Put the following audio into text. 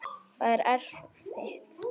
Það er erfitt.